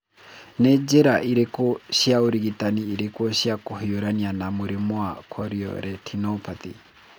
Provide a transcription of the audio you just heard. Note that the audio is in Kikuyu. Nĩ njĩra irĩkũ cia ũrigitani irĩ kuo cia kũhiũrania na mũrimũ wa chorioretinopathy?